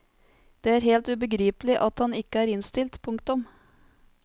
Det er helt ubegripelig at han ikke er innstilt. punktum